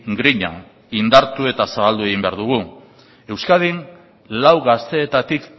grina indartu eta zabaldu egin behar dugu euskadin lau gazteetatik